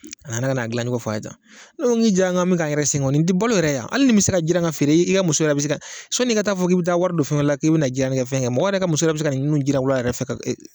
A nana ka n'a dilancogo fɔ an ye tan, ne ko min jiranna an bɛ k'an ka yɛrɛ sɛgɛn o nin tɛ balo yɛrɛ hali nin bɛ se ka feere i ka muso yɛrɛ bɛ se ka sɔni i taa fɔ k'i bɛ taa wari don fɛn wɛrɛ la k'i bɛ na kɛ fɛn kɛ mɔgɔ wɛrɛ ka muso bɛ se ka ninnu jiran wula yɛrɛ fɛ